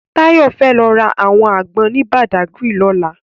Tayo fè lò rá áwòn ágbòn ni Bàdágiri lòlá